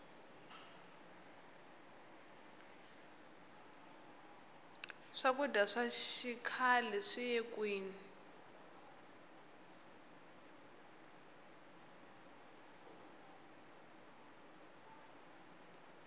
swakudya swa xikhle swiye kwini